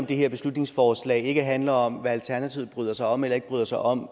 det her beslutningsforslag ikke handler om hvad alternativet bryder sig om eller ikke bryder sig om